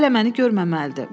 Hələ məni görməməlidir.